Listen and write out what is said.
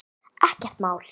Ekkert mál.